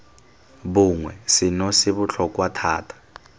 bongwe seno se botlhokwa thata